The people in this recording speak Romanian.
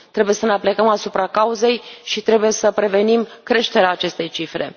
Trebuie să ne aplecăm asupra cauzei și trebuie să prevenim creșterea acestei cifre.